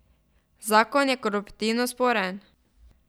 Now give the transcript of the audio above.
Zakon je koruptivno sporen.